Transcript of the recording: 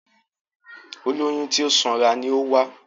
Olóyún tí ó sanra ni ó wá